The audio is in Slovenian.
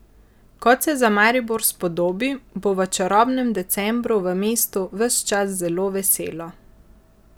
Kot se za Maribor spodobi, bo v čarobnem decembru v mestu ves čas zelo veselo.